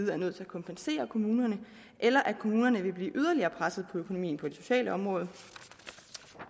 være nødt til at kompensere kommunerne eller at kommunerne vil blive yderligere presset på økonomien på det sociale område